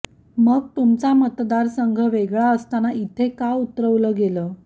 मग तुमचा मतदारसंघ वेगळा असताना इथे का उतरवलं गेलं